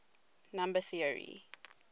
number theory